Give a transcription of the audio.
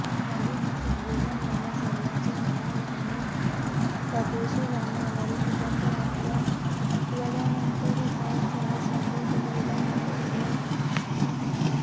परवेझ मुशर्रफ गेल्या महिन्यात सर्वोच्च न्यायालयाने परदेशी जाण्यावरील निर्बंध हटवल्यानंतर उपचारासाठी दुबईला निघून गेले होते